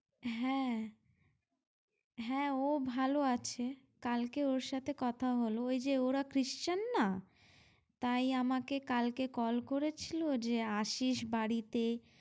হ্যাঁ হ্যাঁ ও ভালো আছে, কালকে ওর সাথে কথা হলো ওই যে ওরা christian না তাই আমাকে কালকে call করেছিল যে আসিস বাড়িতে ।